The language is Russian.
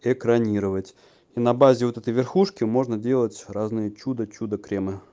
экранировать и на базе вот это верхушки можно делать разные чудо чудо кремы